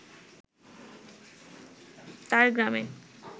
তার গ্রামে